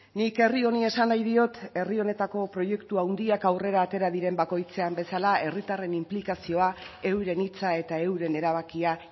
nik herri honi esan nahi diot herri honetako proiektu handiak aurrera atera diren bakoitzean bezala herritarren inplikazioa euren hitza eta euren erabakia